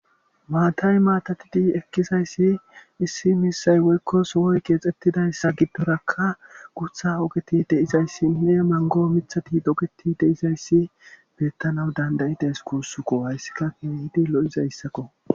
Maatay maatatidi ekkisayssi issi misay woykko sowoy geexxettidayssa giddorakka gutha ogeti deizayssi ne mango mithati dogeti deizayssi beettanaw dandayide es kuussuko hayssika keehidi lo'izayssakko.